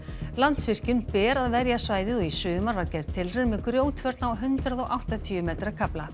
Landsvirkjun ber að verja svæðið og í sumar var gerð tilraun með grjótvörn á hundrað og áttatíu metra kafla